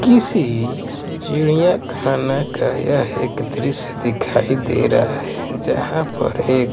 किसी चिडियाँ खाना का यह एक दृश्य दिखाई दे रहा जहां पर एक --